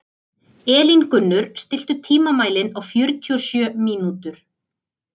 Elíngunnur, stilltu tímamælinn á fjörutíu og sjö mínútur.